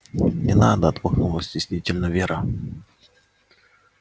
не надо отмахнулась стеснительно вера